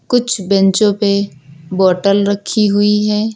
कुछ बेंचो पे बॉटल रखी हुई है।